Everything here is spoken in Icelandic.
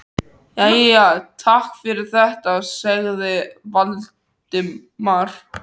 Jæja, takk fyrir þetta- sagði Valdimar.